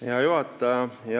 Hea juhataja!